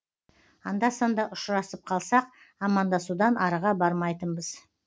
анда санда ұшырасып қалсақ амандасудан арыға бармайтынбыз